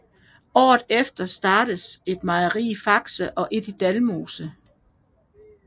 Året efter startedes et mejeri i Fakse og et i Dalmose